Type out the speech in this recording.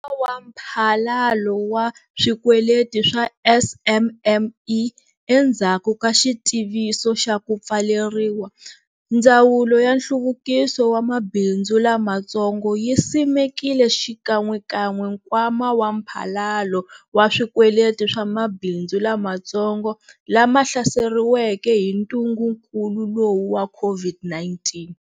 Nkwama wa Mphalalo wa Swikweleti wa SMME, Endzhaku ka xitiviso xa ku pfaleriwa, Ndzawulo ya Nhluvukiso wa Mabindzu Lamatsongo yi simekile xikan'wekan'we nkwama wa mphalalo wa swikweleti wa mabindzu lamatsongo lama hlaseriweke hi ntungukulu lowu wa COVID-19.